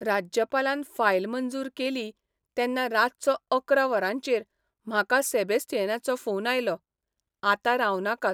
राज्यपालान फायल मंजूर केली तेन्ना रातचो अकरा वरांचेर म्हाका सेबेस्तियानाचो फोन आयलो, आतां रावनाकात.